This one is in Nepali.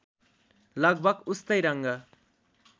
लगभग उस्तै रङ्ग